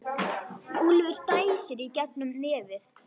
Úlfur dæsir í gegnum nefið.